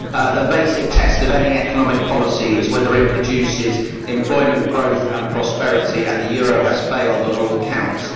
The basic test of any economic policy is whether it produces employment, growth and prosperity, and the euro has failed on all counts.